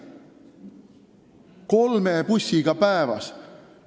Kolme bussiga päevas!